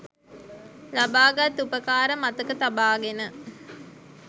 ලබාගත් උපකාර මතක තබාගෙන